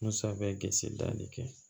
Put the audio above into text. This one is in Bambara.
Musa bɛ danni kɛ